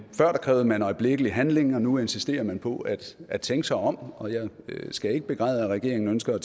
før krævede man øjeblikkelig handling og nu insisterer man på at at tænke sig om og jeg skal ikke begræde at regeringen ønsker at